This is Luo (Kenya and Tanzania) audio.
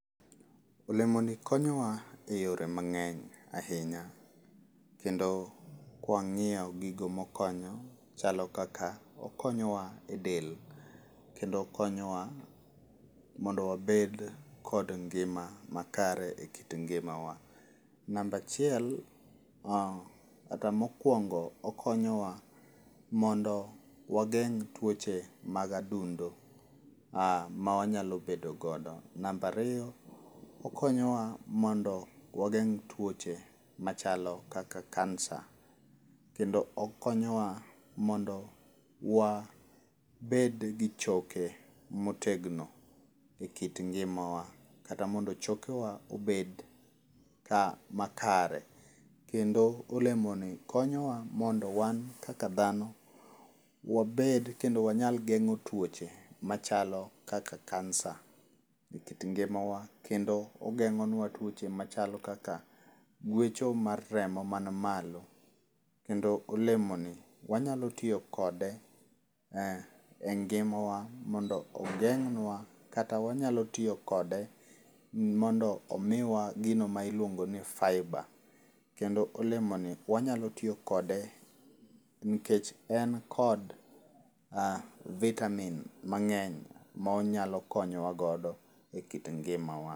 Olemoni konyowa e yore mangény ahinya. Kendo kwangíyo gigo ma okonyo, chalo kaka, okonyo wa e del, kendo okonyowa mondo wabed kod ngima makare e kit ngimawa. Namba achiel, kata mokwongo, okonyowa mondo wageng' twoche mag adundo, ma wanyalo bedo godo. Namba ariyo, okonyowa mondo wageng' twoche machalo kaka Kansa. Kendo okonyowa mondo wabed gi choke motegno, e kit ngimawa. Kata mondo chokewa obed ka, makare. Kendo olemoni konyowa mondo wan kaka dhano, wabed , kendo wanyal gengó twoche machalo kaka Kansa e kit ngimawa, kendo ogengónwa tuoche machalo kaka gwecho mar remo man malo. Kendo olemoni, wanyalo tiyo kode, engimawa, mondo ogeng'nwa, kata wanyalo tiyo kode mondo omiwa gino ma iluongoni fibre. Kendo olemoni, wanyalo tiyo kode, nikech en kod vitamin mangény ma onyalo konyo wa godo e kit ngimawa.